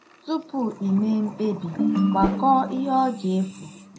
Tupu i mee mkpebi, " gbakọọ ihe ọ ga-efu ."